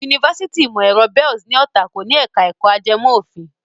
Yunifásitì ìmọ̀ ẹ̀rọ Bells ní Ọ̀tà kò ní ẹ̀ka ẹ̀kọ́ ajẹmọ́ òfin.